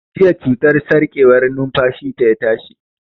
Jiya cutar sarƙewar numfashi ta ya tashi